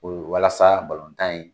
U bolo walasa balontan in